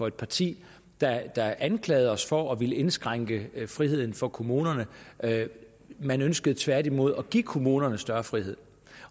et parti der anklagede os for at ville indskrænke friheden for kommunerne man ønskede tværtimod at give kommunerne større frihed